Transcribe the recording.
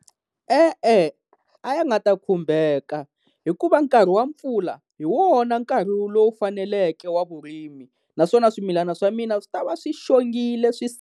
E-e, a ya nga ta khumbeka hikuva nkarhi wa mpfula hi wona nkarhi lowu faneleke wa vurimi, naswona swimilana swa mina swi ta va swi xongile swi .